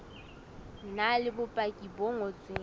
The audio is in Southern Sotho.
na le bopaki bo ngotsweng